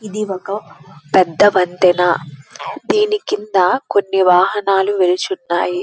ఇది ఒక పెద్ద వంతెన దీని కింద కొన్న్ని వాహనాలు నిల్చున్నాయి.